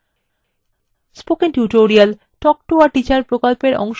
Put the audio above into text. spoken tutorial talk to a teacher প্রকল্পের অংশবিশেষ